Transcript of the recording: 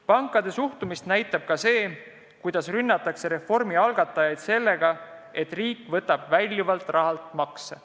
Pankade suhtumist näitab ka see, kuidas rünnatakse reformi algatajaid sellepärast, et riik võtab sambast väljavõetavalt rahalt makse.